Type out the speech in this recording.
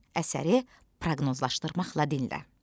Əsəri proqnozlaşdırmaqla dinlə.